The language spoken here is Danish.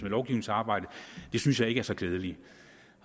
lovgivningsarbejdet det synes jeg ikke er så klædeligt